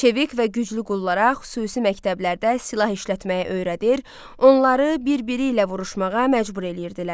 Çevik və güclü qullara xüsusi məktəblərdə silah işlətməyə öyrədir, onları bir-biri ilə vuruşmağa məcbur eləyirdilər.